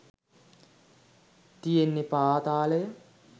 තියෙන්නෙ පාතාලය.